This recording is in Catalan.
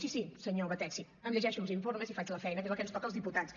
sí sí senyor batet sí em llegeixo els informes i faig la feina que és el que ens toca als diputats